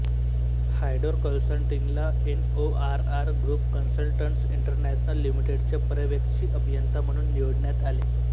हायडोर कन्सल्टिंगला NORR group consultants international लिमिटेडचे पर्यवेक्षी अभियंता म्हणून निवडण्यात आले